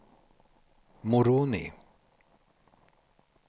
Moroni